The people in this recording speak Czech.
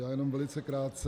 Já jen velice krátce.